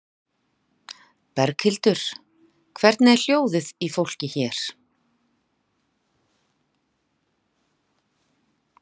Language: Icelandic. Berghildur: Hvernig er hljóðið í fólki hér?